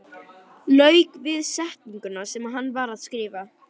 Lauk við setninguna sem hann var að skrifa.